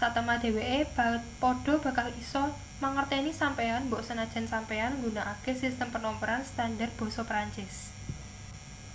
satemah dheweke padha bakal isa mangerteni sampeyan mbok senajan sampeyan nggunakake sistem penomeran standar basa perancis